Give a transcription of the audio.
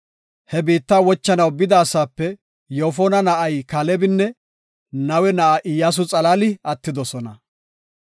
He biitta wochanaw bida asaape Yoofona na7ay Kaalebinne Nawe na7ay Iyyasu xalaali attidosona.